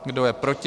Kdo je proti?